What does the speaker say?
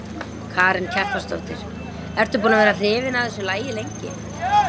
Karen Kjartansdóttir: Ertu búin að vera hrifin af þessu lagi lengi?